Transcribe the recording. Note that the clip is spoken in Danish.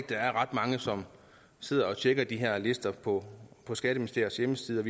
der er ret mange som sidder og tjekker de her lister på på skatteministeriets hjemmeside